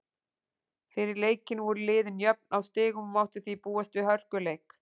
Fyrir leikinn voru liðin jöfn á stigum og mátti því búast við hörkuleik.